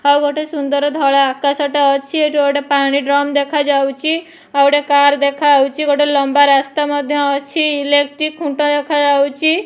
ଆଉ ଗୋଟେ ସୁନ୍ଦର ଧଳା ଆକାଶଟେ ଅଛି ଏଠି ଗୋଟେ ପାଣି ଡ୍ରମ ଦେଖାଯାଉଚି ଆଉ ଗୋଟେ କାର ଦେଖାହୋଉଚି ଗୋଟେ ଲମ୍ବା ରାସ୍ତା ମଧ୍ୟ ଅଛି ଇଲେକ୍ଟ୍ରିକ ଖୁଣ୍ଟ ଦେଖାଯାଉଚି।